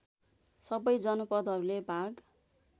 सबै जनपदहरूले भाग